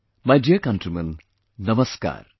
My dear countrymen, Namaskar